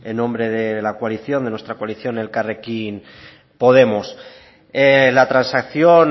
en nombre de la coalición de nuestra coalición elkarrekin podemos la transacción